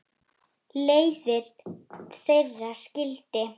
Leiðir þeirra skildi.